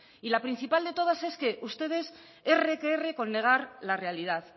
la principal de todas es que ustedes erre que erre con negar la realidad